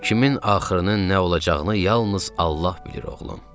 Kimin axırının nə olacağını yalnız Allah bilir oğlum.